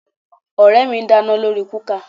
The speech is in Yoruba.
Ọ̀rẹ́ mi ń dáná lórí kúkà